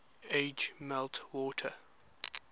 age melt water